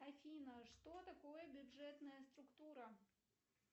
афина что такое бюджетная структура